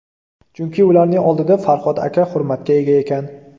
Chunki ularning oldida Farhod katta hurmatga ega ekan.